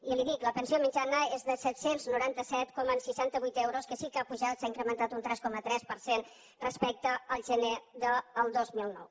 i li dic la pensió mitjana és de set cents i noranta set coma seixanta vuit euros que sí que ha pujat s’ha incrementat un tres coma tres per cent respecte al gener del dos mil nou